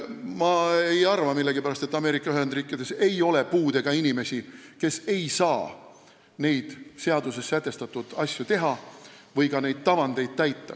Millegipärast ma ei arva, et Ameerika Ühendriikides ei ole puudega inimesi, kes ei saa neid seaduses sätestatud asju teha või neid tavandeid täita.